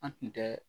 An tun tɛ